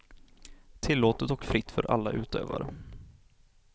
Tillåtet och fritt för alla utövare.